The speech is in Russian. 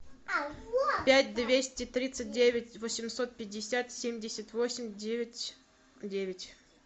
пять двести тридцать девять восемьсот пятьдесят семьдесят восемь девять девять